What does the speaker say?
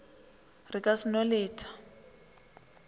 re ka se no leta